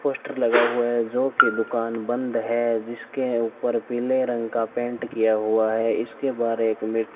poster लगा हुआ है जो की दुकान बंद है जिसके ऊपर पीले रंग का पेंट किया हुआ है इसके बहार एक मि --